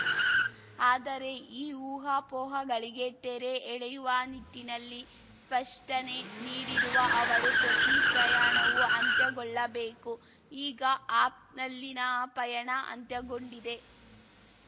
ಆದರೆ ಈ ಊಹಾಪೋಹಗಳಿಗೆ ತೆರೆ ಎಳೆಯುವ ನಿಟ್ಟಿನಲ್ಲಿ ಸ್ಪಷ್ಟನೆ ನೀಡಿರುವ ಅವರು ಪ್ರತಿ ಪ್ರಯಾಣವೂ ಅಂತ್ಯಗೊಳ್ಳಬೇಕು ಈಗ ಆಪ್‌ನಲ್ಲಿನ ಪಯಣ ಅಂತ್ಯಗೊಂಡಿದೆ